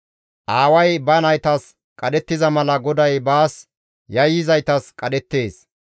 Aaway ba naytas qadhettiza mala GODAY baas yayyizaytas qadhettees.